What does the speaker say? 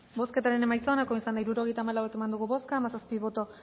bozketaren emaitza onako izan da hirurogeita hamalau eman dugu bozka hamazazpi boto